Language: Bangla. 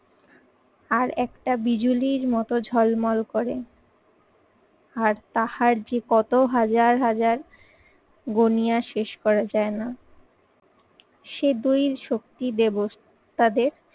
আর একটা বিজুলির মতো ঝলমল করে। আর তাহার যে কত হাজার হাজার গুনিয়া শেষ করা যায় না। সে দুইয়ের শক্তি দেবস্ তাদের